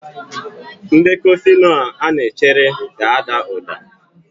Ndekọ Fino a na-echere ga-ada uda.